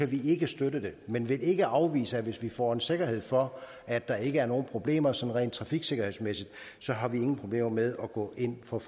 vi ikke støtte det men vi vil ikke afvise det hvis vi får en sikkerhed for at der ikke er nogen problemer sådan rent trafiksikkerhedsmæssigt så har vi ingen problemer med at gå ind for